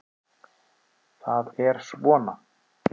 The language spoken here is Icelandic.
Það er svona.